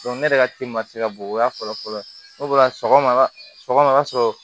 ne yɛrɛ ka ci ma se ka bon o y'a fɔlɔ fɔlɔ fɔlɔ ye sɔgɔma sɔgɔma o ka sɔrɔ